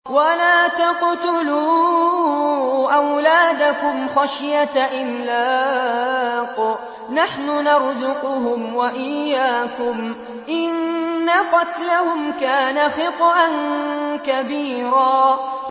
وَلَا تَقْتُلُوا أَوْلَادَكُمْ خَشْيَةَ إِمْلَاقٍ ۖ نَّحْنُ نَرْزُقُهُمْ وَإِيَّاكُمْ ۚ إِنَّ قَتْلَهُمْ كَانَ خِطْئًا كَبِيرًا